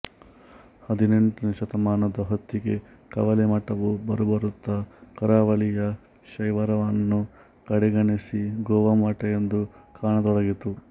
ಹದಿನೆಂಟನೇ ಶತಮಾನದ ಹೊತ್ತಿಗೆ ಕವಳೆ ಮಠವು ಬರುಬರುತ್ತಾ ಕರಾವಳಿಯ ಶೈವರನ್ನು ಕಡೆಗಣಿಸಿ ಗೋವಾ ಮಠ ಎಂದು ಕಾಣತೊಡಗಿತು